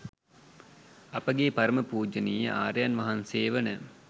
අපගේ පරම පූජනීය ආර්යයන් වහන්සේ වන